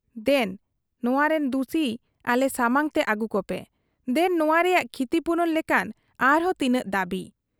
ᱫᱮᱱ ᱱᱚᱣᱟᱨᱤᱱ ᱫᱩᱥᱤ ᱟᱞᱮ ᱥᱟᱢᱟᱝ ᱛᱮ ᱟᱹᱜᱩ ᱠᱚᱯᱮ, ᱫᱮᱱ ᱱᱚᱶᱟ ᱨᱮᱭᱟᱜ ᱠᱷᱤᱛᱤᱯᱩᱨᱚᱱ ᱞᱮᱠᱟᱱ ᱟᱨᱦᱚᱸ ᱛᱤᱱᱟᱹᱜ ᱫᱟᱹᱵᱤ ᱾